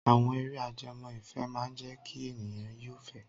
Àwọn eré ajẹmọ́ ìfẹ́ máa jẹ́ kí ènìyàn yó ìfẹ́.